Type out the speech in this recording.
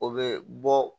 O be bɔ